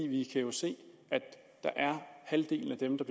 vi kan jo se at halvdelen af dem der